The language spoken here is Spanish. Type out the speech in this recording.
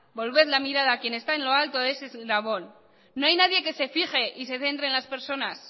volver la mirada a quien está en lo alto de ese eslabón no hay nadie que se fije y se centre en las personas